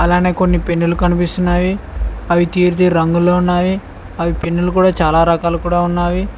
అలానే కొన్ని పెన్నులు కనిపిస్తున్నవి అవి తీరు తీరు రంగుల్లో ఉన్నవి అవి పెన్నులు కూడా చాలా రకాలు కూడా ఉన్నవి.